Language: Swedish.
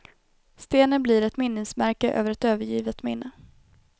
Stenen blir ett minnesmärke över ett övergivet minne.